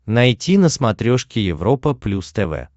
найти на смотрешке европа плюс тв